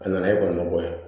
A nana e kɔni b'o bɔ yen